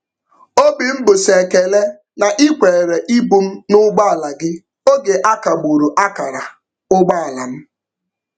Obi m bụ sọ ekele na ị kwere ibu m n'ụgbọala gị oge akagburu akara ụgbọala m.